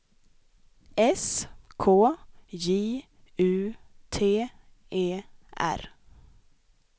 S K J U T E R